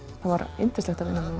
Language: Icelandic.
var yndislegt að vinna